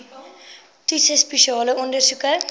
toetse spesiale ondersoeke